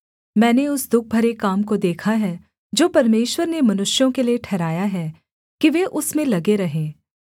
मैंने उस दुःख भरे काम को देखा है जो परमेश्वर ने मनुष्यों के लिये ठहराया है कि वे उसमें लगे रहें